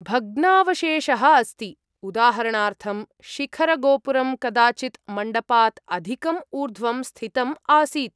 भग्नावशेषः अस्ति। उदाहरणार्थम्, शिखरगोपुरम् कदाचित् मण्डपात् अधिकं ऊर्ध्वं स्थितम् आसीत्।